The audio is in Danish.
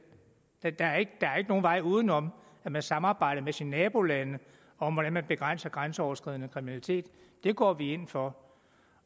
der er ikke nogen vej uden om at man samarbejder med sine nabolande om hvordan man begrænser grænseoverskridende kriminalitet det går vi ind for